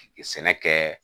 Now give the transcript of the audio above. Sɛnɛ kɛ